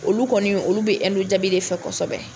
Olu kɔni ,olu be jabi de fɛ kosɛbɛ.